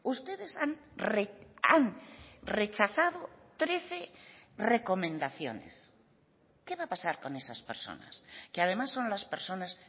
ustedes han rechazado trece recomendaciones qué va a pasar con esas personas que además son las personas